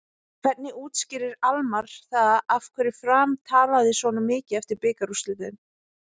Hvernig útskýrir Almarr það af hverju Fram dalaði svona mikið eftir bikarúrslitin?